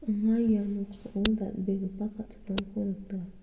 anga ia noksao dal·begipa kal·chakramko nika.